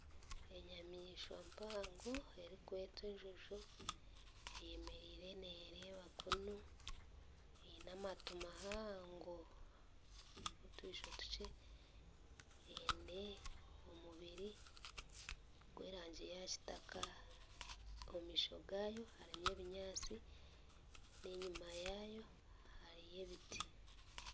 Enyamaishwa mpango erikwetwa enjojo eyemereire nereeba kunu aine amatu mahango n'otwisho tukye eine omubiri gw'erangi yakitaka omumaisho gaayo hariyo ebinyaatsi n'enyima yaayo hariyo ebiti.